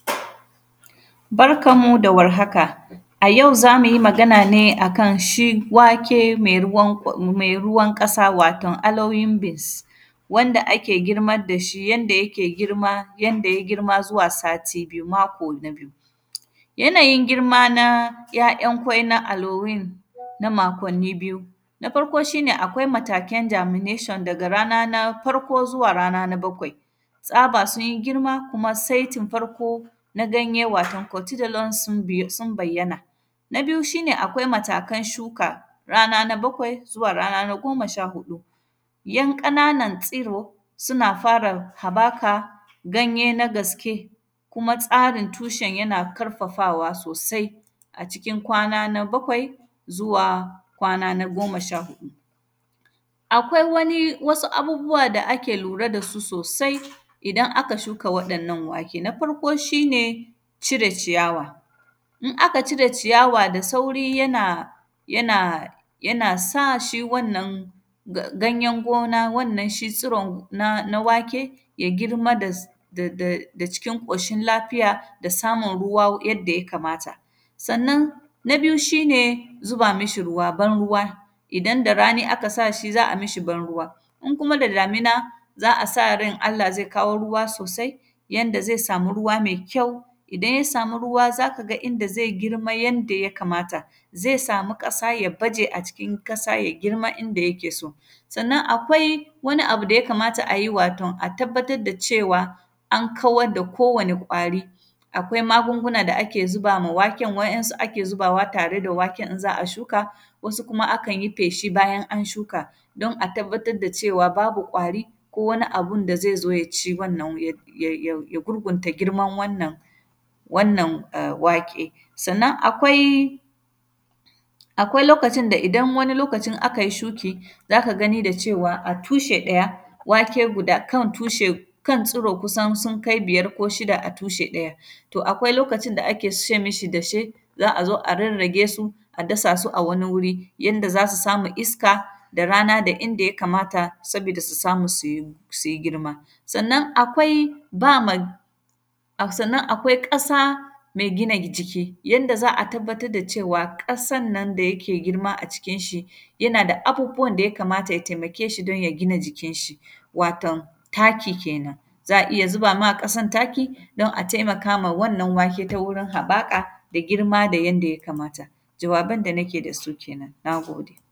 Barkan mu da warhaka, a yau za mu yi magan ne a kan shi wake mai ruwan ƙw; mai ruwan ƙasa, waton “alloying beans” wanda ake girmad da shi, yanda yake girma, yanda ya girma zuwa sati biyu, mako biyu. Yanayin girma na ‘ya’yan kwai na “alloying” na makonni biyu. Na farko, shi ne akwai mataken “germination” daga rana na farko zuwa rana na bakwai. Tsaba sun yi girma, kuma setin farko na ganye, waton “cotidelons” sun biy; sn bayyana. Na biyu, shi ne akwai matakan shuka rana na bakwai zuwa rana na goma sha huɗu. Yan ƙananan tsiro, suna fara habaka ganye na gaske, kuma tsarin tushen yana karfafawa sosai, a cikin kwana na bakwai zuwa kwana na goma sha huɗu. Akwai wani, wasu abubuwa da ake lura da su sosai idan aka shuka waɗannan wake. Na farko, shi ne cire ciyawa, in aka cire ciyawa da sauri yana; yana, yana sa shi wannan ga; ganyen gona wannan shi tsiron na; na wake, ya girma da s; da, da, da cikin ƙoshil lafiya da samun ruwa yadda ya kamata. Sannan, na biyu shi ne zuba mishi ruwa, ban-ruwa. Idan da rani aka sa shi, za a mishi ban-ruwa, in kuma da damina, za a sa ran Allah zai kawo ruwa sosai, yanda zai sami ruwa mai kyau. Idan ya samu ruwa z aka ga inda zai girma yanda ya kamata. Zai sami ƙasa, ya baje a cikin ƙasa ya girma inda yake so. Sanna, akwai wani abu da ya kamata ayi, waton a tabbatad da cewa, an kawad da kowane ƙwari, akwai magunguna da ake ziba ma waken, wa’yansu ake zibawa tare da waken in za a shuka, wasu kuma akan yi feshi bayan an shuka. Don a tabbatad da cewa babu ƙwari ko wani abun da zai zo ya ci wannan ya; ya; ya gurgunta girman wannan, wannan e; wake. Sannan, akwai, akwai lokacin da, idan wani lokacin akai shuki, za ka gani da cewa, a tushe ɗaya, wake guda; kan tushe, kan tsuro kusan sun kai biyar ko shida a tushe ɗaya. To, akwai lokacin da ake se mishi dashe, za a zo a rarrage su, a dasa su a wani wuri yanda za su samu iska da rana da inda ya kamata, sabida su samu su yi, su yi girma. Sannan, akwai ba ma, a sannan akwai ƙasa me gina jiki, yadda za a tabbatad da cewa, ƙasan na da yake girma a cikin shi, yana da abubuwan da ya kamata ya temake shi, don ya gina jikinshi, waton taki kenan. Za a iya ziba ma ƙasan taki don a temaka ma wannan wake ta wurin haƃaƙa da girma da yanda ya kamata. Jawaban da nake da su kenan, na gode.